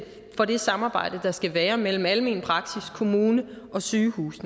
for det samarbejde der skal være mellem almen praksis kommune og sygehus i